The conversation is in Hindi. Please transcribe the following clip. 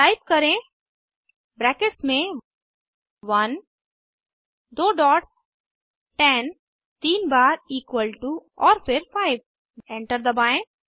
टाइप करें ब्रैकेट्स में 1 दो डॉट्स 10 तीन बार इक्वल टू और फिर 5 एंटर दबाएं